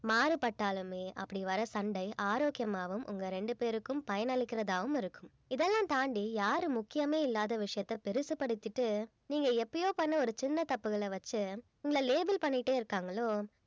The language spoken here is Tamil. மாறுபட்டாலுமே அப்படி வர சண்டை ஆரோக்கியமாவும் உங்க ரெண்டு பேருக்கும் பயனளிக்கிறதாவும் இருக்கும் இதெல்லாம் தாண்டி யாரு முக்கியமே இல்லாத விஷயத்த பெருசுபடுத்திட்டு நீங்க எப்பயோ பண்ண ஒரு சின்ன தப்புகளை வச்சு உங்களை label பண்ணிட்டே இருக்காங்களோ